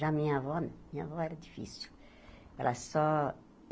Já minha avó não minha avó era difícil. Ela só